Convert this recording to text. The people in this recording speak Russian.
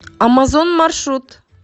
амазон маршрут